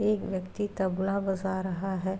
एक व्यक्ति तबला बजा रहा है।